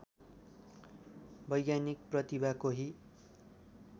वैज्ञानिक प्रतिभा कोही